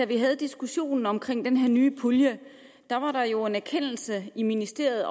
vi havde diskussionen om den her nye pulje var en erkendelse i ministeriet